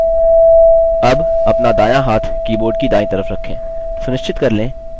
अब अपना दायाँ हाथ keyboard की दायीं तरफ रखें